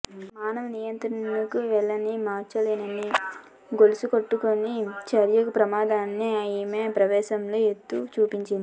మానవ నియంత్రణకు వీల్లేని మార్చలేని గొలుసుకట్టు చర్యల ప్రమాదాన్ని ఆమె ఈ సమావేశంలో ఎత్తి చూపింది